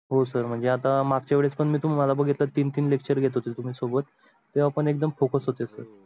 हो sir म्हणजे आता मागच्या वेळेस पण मी तुम्हाला बगीतल तीन तीन lecture घेत होते तुम्ही सबोत तेव्हा पण एकदम focus होते sir हो